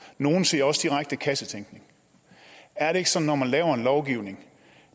nogle siger også direkte kassetænkning er det ikke sådan at man laver en lovgivning